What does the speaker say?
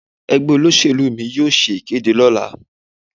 Ẹgbẹ́ olóṣèlú mi yóò ṣe ìkéde lọ́la.